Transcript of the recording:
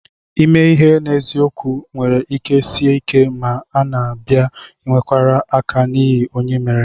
Ime ihe n'eziokwu nwere ike Sie ike ma a bịa n'ikwere aka n'ihe Onye méré